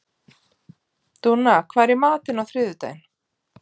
Dúnna, hvað er í matinn á þriðjudaginn?